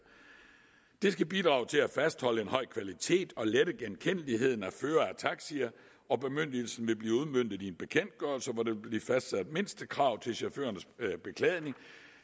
det skal bidrage til at fastholde en høj kvalitet og lette genkendeligheden af førere af taxier og bemyndigelsen vil blive udmøntet i en bekendtgørelse hvor der vil blive fastsat mindstekrav til chaufførernes beklædning